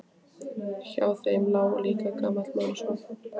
Hjá þeim lá líka gamall maður og svaf.